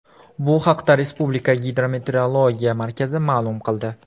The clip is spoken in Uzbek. Bu haqda Respublika Gidrometeorologiya markazi ma’lum qildi .